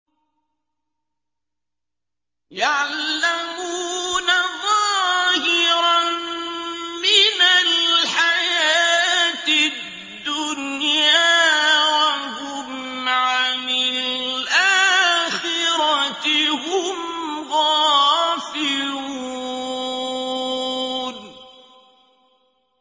يَعْلَمُونَ ظَاهِرًا مِّنَ الْحَيَاةِ الدُّنْيَا وَهُمْ عَنِ الْآخِرَةِ هُمْ غَافِلُونَ